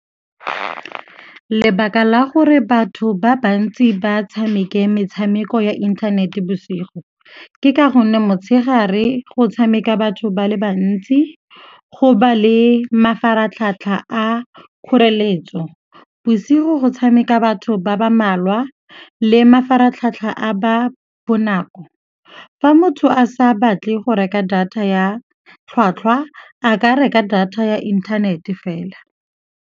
Lebaka la gore batho ba bantsi ba tshameke metshameko ya inthanete bosigo ke ka gonne motshegare go tshameka batho ba le bantsi go ba le mafaratlhatlha a kgoreletso. Bosigo go tshameka batho ba ba malwa le mafaratlhatlha a ba bonako. Fa motho a sa batle go reka data ya tlhwatlhwa, a ka reka data ya inthanete fela.